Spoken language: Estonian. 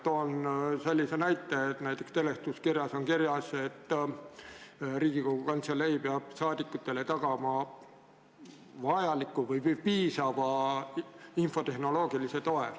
Toon sellise näite, et seletuskirjas on öeldud, et Riigikogu Kantselei peab saadikutele tagama vajaliku või piisava infotehnoloogilise toe.